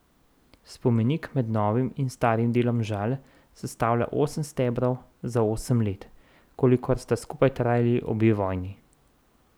Spomenik med novim in starim delom Žal sestavlja osem stebrov za osem let, kolikor sta skupaj trajali obe vojni.